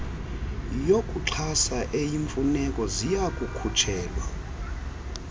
yokuxhasa eyimfuneko ziyakukhutshelwa